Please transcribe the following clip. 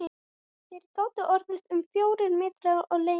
Þeir gátu orðið um fjórir metrar á lengd.